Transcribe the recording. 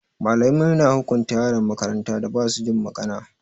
Malamai na hukunta yaran makarantan da ba su jin magana.